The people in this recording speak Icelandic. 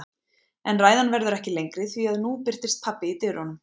En ræðan verður ekki lengri því að nú birtist pabbi í dyrunum.